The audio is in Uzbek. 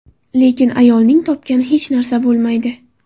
Lekin ayolning topgani hech narsa bo‘lmaydi.